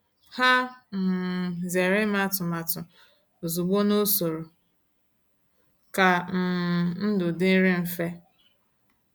Ha um zere ime atụmatụ ozugbo n’usoro ka um ndụ dịrị mfe.